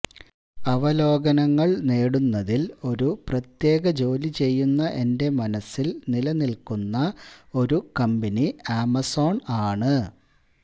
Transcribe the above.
അവലോകനങ്ങൾ നേടുന്നതിൽ ഒരു പ്രത്യേക ജോലി ചെയ്യുന്ന എന്റെ മനസ്സില് നിലനില്ക്കുന്ന ഒരു കമ്പനി ആമസോൺ ആണ്